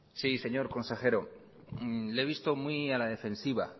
sí señor consejero le he visto muy a la defensiva